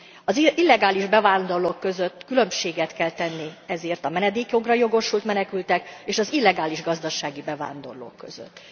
Az illegális bevándorlók között különbséget kell tenni ezért a menedékjogra jogosult menekültek és az illegális gazdasági bevándorlók között.